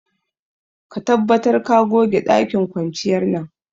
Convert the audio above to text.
Ka tabbatar ka goge dakin kwanciyar nan.